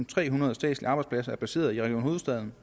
trehundrede statslige arbejdspladser er placeret i region hovedstaden